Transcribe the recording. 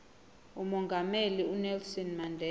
umongameli unelson mandela